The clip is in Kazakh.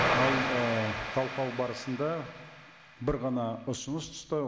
мынау ііі талқылау барысында бір ғана ұсыныс түсті